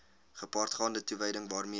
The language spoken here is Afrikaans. gepaardgaande toewyding waarmee